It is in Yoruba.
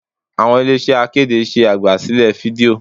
Àwọn ilé iṣẹ́ akéde ṣe àgbà sílẹ̀ fídíò.